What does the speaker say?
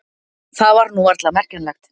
Það var nú varla merkjanlegt.